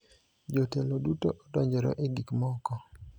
Jotelo duto odonjore e gik moko.